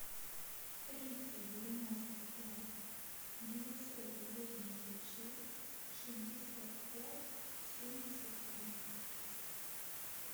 триста девяносто пять девятьсот восемьдесят шесть шестьдесят пять семьдесят три